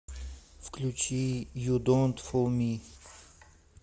включи ю донт фул ми